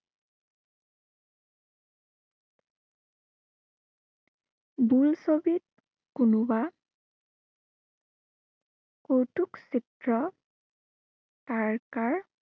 বোলছবিত, কোনোবা কৌতুক চিত্ৰ তাৰকাৰ